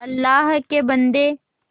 अल्लाह के बन्दे